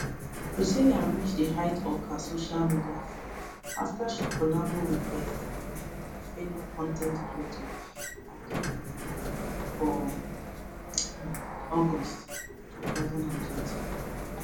priscilla reach di height of her social media fame afta she collabo wit bestie and fellow con ten t creator adeoluwa for um august 2024